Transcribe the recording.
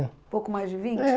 Um pouco mais de vinte? É